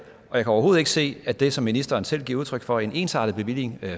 overhovedet ikke se at det som ministeren selv giver udtryk for om en ensartet bevilling